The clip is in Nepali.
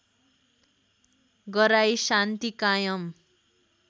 गराई शान्ति कायम